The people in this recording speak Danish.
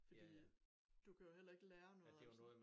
Fordi du kan jo heller ikke lære noget altså